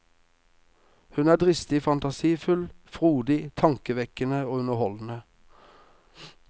Hun er dristig, fantasifull, frodig, tankevekkende og underholdende.